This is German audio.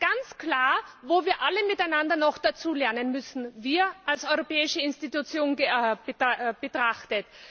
Er zeigt ganz klar, wo wir alle miteinander noch dazulernen müssen wir als europäische Institution betrachtet.